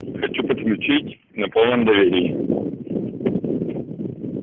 хочу подключить на полном доверии